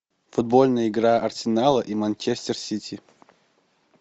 футбольная игра арсенала и манчестер сити